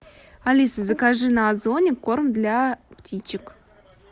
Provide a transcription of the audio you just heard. алиса закажи на озоне корм для птичек